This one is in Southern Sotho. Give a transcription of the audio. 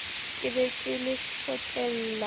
ke be ke le hlokela